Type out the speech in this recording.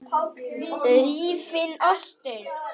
Rífið ostinn.